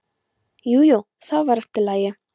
Jú, jú, það var allt í lagi.